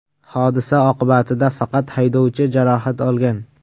Hodisa oqibatida faqat haydovchi jarohat olgan.